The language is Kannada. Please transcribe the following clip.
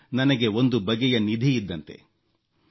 ಇದು ನನಗೆ ಒಂದು ಬಗೆಯ ನಿಧಿ ಇದ್ದಂತೆ